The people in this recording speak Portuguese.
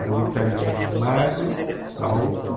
Era um italiano magro, alto.